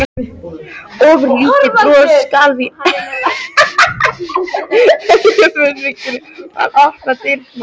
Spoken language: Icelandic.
Ofurlítið bros skalf í öðru munnvikinu og hann opnaði dyrnar.